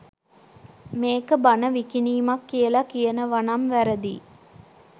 මේක බණ විකිණීමක් කියලා කියනවනම් වැරදියි